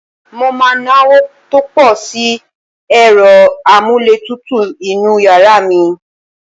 Mo máa náwó tó pọ̀ sí ẹ̀rọ-amúlétutu inú yàrá mi.